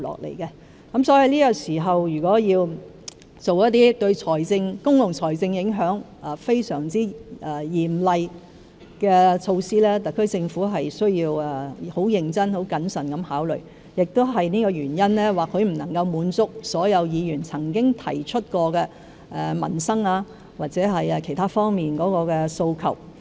如要在這個時候，作出一些對公共財政有嚴重影響的措施，特區政府必須認真和謹慎考慮，正因為這個原因，政府或許不能滿足所有議員曾經提出的民生或其他訴求。